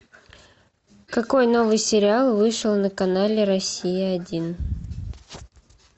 какой новый сериал вышел на канале россия один